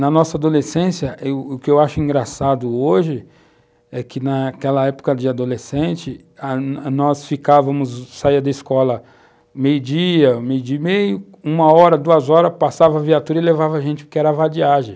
Na nossa adolescência, o o que eu acho engraçado hoje é que, naquela época de adolescente, ah nós ficávamos, saía da escola meio-dia, meio-de-meia, uma hora, duas horas, passava a viatura e levava a gente, porque era vadiagem.